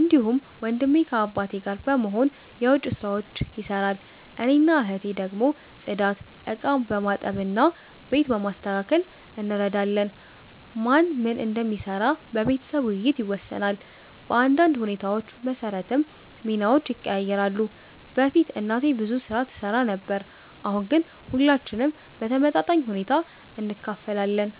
እንዲሁም ወንድሜ ከአባቴ ጋር በመሆን የዉጭ ስራዎች ይሰራል። እኔና እህቴ ደግሞ ጽዳት፣ ዕቃ በማጠብ እና ቤት በማስተካከል እንረዳለን። ማን ምን እንደሚሰራ በቤተሰብ ውይይት ይወሰናል፣ በአንዳንድ ሁኔታዎች መሰረትም ሚናዎች ይቀያየራሉ። በፊት እናቴ ብዙ ስራ ትሰራ ነበር፣ አሁን ግን ሁላችንም በተመጣጣኝ ሁኔታ እንካፈላለን።